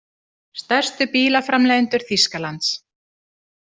Stærstu bílaframleiðendur Þýskalands.